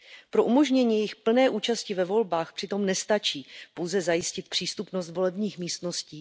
Pro umožnění jejich plné účasti ve volbách přitom nestačí pouze zajistit přístupnost volebních místností.